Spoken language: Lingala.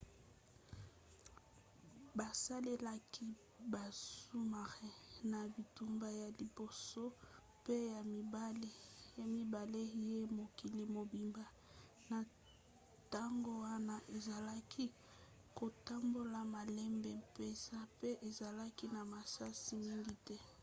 basalelaki basous-marins na bitumba ya liboso pe ya mibale ye mokili mobimba. na ntango wana ezalaki kotambola malembe mpenza pe ezalaki na masasi mingi te